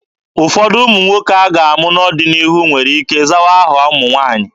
Ụfọdụ ụmụ nwoke a ga-amụ n'ọdịnihu nwere ike zawa aha ụmụ nwaanyị.